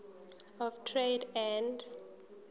of trade and